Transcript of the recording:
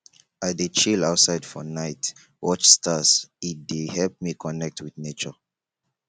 i dey chill outside for night watch stars e dey help me connect wit nature